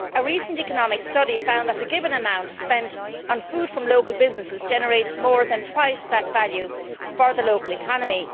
A recent economic study found that a given amount spent on food from local businesses generates more than twice that value for the local economy.